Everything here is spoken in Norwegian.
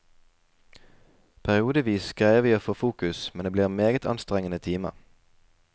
Periodevis greier vi å få fokus, men det blir en meget anstrengende time.